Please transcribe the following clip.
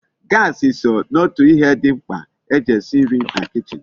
Gasi so n'otu ihe di mkpa eji esi nri na kichin